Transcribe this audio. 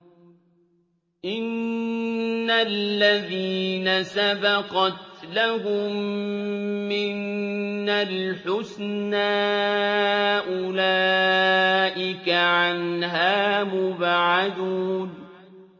إِنَّ الَّذِينَ سَبَقَتْ لَهُم مِّنَّا الْحُسْنَىٰ أُولَٰئِكَ عَنْهَا مُبْعَدُونَ